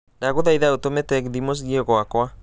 ndagũthaitha utũme tegithi mũciĩ gwakwa